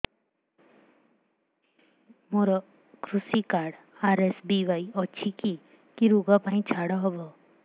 ମୋର କୃଷି card RSBY ଅଛି କି କି ଋଗ ପାଇଁ ଛାଡ଼ ହବ